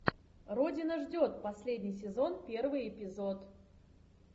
родина ждет последний сезон первый эпизод